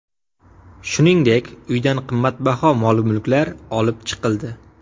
Shuningdek, uydan qimmatbaho mol-mulklar olib chiqildi.